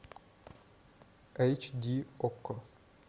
эйч ди окко